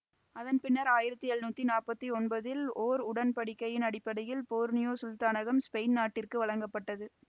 அதன் பின்னர் ஆயிரத்தி எழுநூத்தி நாற்பத்தி ஒன்பதில் ஓர் உடன்படிக்கையின் அடிப்படையில் போர்னியோ சுல்தானகம் ஸ்பெயின் நாட்டிற்கு வழங்கப்பட்டது